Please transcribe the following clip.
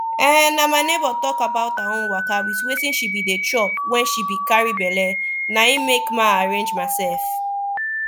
emm na my neighbor talk about her own waka wit wetin she be dey chop wen she be carry belle na make ma arrange myself